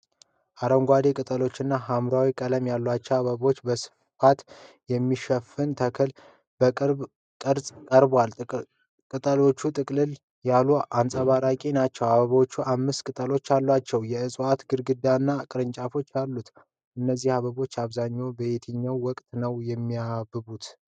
አረንጓዴ ቅጠሎችና የሐምራዊ ቀለም ያላቸው አበቦች በስፋት የሚሸፍን ተክል በቅርብ ቀረጻ ቀርቧል። ቅጠሎቹ ጥቅጥቅ ያሉና አንጸባራቂ ናቸው። አበቦቹ አምስት ቅጠሎች አሏቸው። የእጽዋቱ ግንድና ቅርንጫፎችም አሉ። እነዚህ አበቦች በአብዛኛው በየትኛው ወቅት ነው የሚያብቡት?